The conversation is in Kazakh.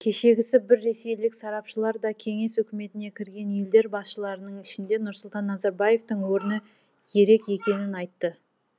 кешегісі бір ресейлік сарапшылар да кеңес үкіметіне кірген елдер басышларының ішінде нұрсұлтан назарбаевтың орны ерек екенін айтты